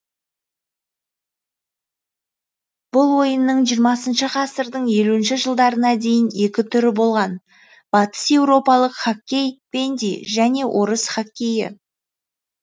бұл ойынның жиырмасыншы ғасырдың елуінші жылдарына дейін екі түрі болған батыс еуропалық хоккей бенди және орыс хоккейі